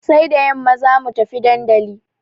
Sai da yamma za mu tafi dandali.